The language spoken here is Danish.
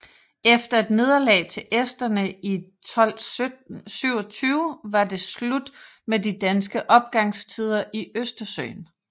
Efter et nederlag til esterne i 1227 var det slut med de danske opgangstider i Østersøen